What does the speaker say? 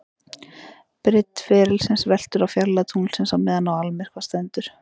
Breidd ferilsins veltur á fjarlægð tunglsins á meðan á almyrkva stendur.